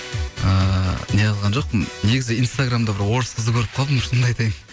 ыыы неғылған жоқпын негізі инстаграмда бір орыс қызды көріп қалдым шынымыды айтайын